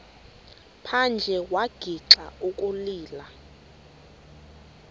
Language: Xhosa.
phandle wagixa ukulila